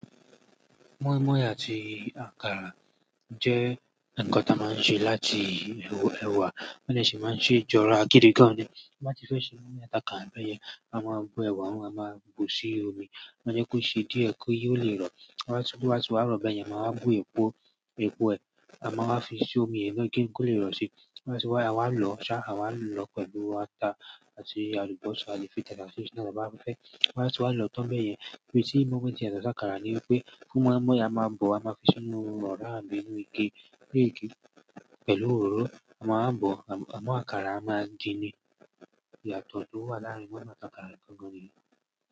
Mọ́ímọ́í àti àkàrà jẹ́ ǹkan tí a máa ń ṣe láti èwà, wọ́n de se máa ń ṣe jọra gidi gan. Bí wọ́n bá ti fẹ́ ṣe mọ́ímọ́í àti àkàra, bẹ́yẹn á máa bú èwà, wọ́n á máa bù sí omi, wọ́n jẹ kó ṣe díẹ̀ kó yí ó lè rọ̀. Lẹ́ẹ́wá ti wọ́n ti wá rọ̀ bẹ́ẹ̀ yẹn, màá bú epo, epo ẹ̀, à máa fi sí omi yẹn kí ó lè rọ̀ sí i. Lẹ́ẹ́wá tí wọ́n wá, àwa ń lọ ṣá, àwa ń lọ pẹ̀lú átá àti alùbosa, àti tatase si naa, àti ohun tí ọ̀dọ́ bàbá fẹ́. Lẹ́ẹ́wá tí wọ́n ti wá lọ tán bẹ́ẹ̀ yẹn, bí ti mọ́ímọ́í tí yato sí àkàrà ni wípé fún mọ́ímọ́í, a máa bò, a máa fi sínú ọ̀ra àbí inú ike. Lórí igi, pẹ̀lú òróró, a máa bò, àmọ́ àkàrà a máa din ni. Ìyàtọ̀ tó wà láàárín mọ́ímọ́í àti àkàrà nìkan gan ni.